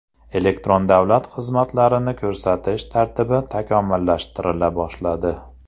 Elektron davlat xizmatlarini ko‘rsatish tartibi takomillashtirila boshladi.